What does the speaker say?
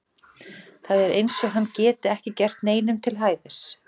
Það er eins og hann geti ekki gert neinum til hæfis.